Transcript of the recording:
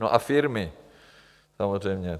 No a firmy samozřejmě.